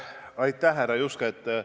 Aitäh, härra Juske!